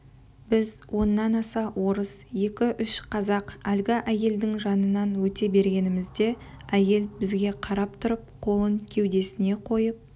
біз оннан аса орыс екі-үш қазақ әлгі әйелдің жанынан өте бергенімізде әйел бізге қарап тұрып қолын кеудесіне қойып